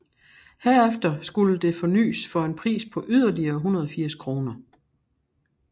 Herefter skulle det fornys for en pris på yderligere 180 kroner